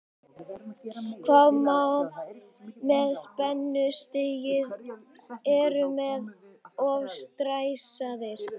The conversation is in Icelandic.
Hvað með spennustigið, eru menn of stressaðir?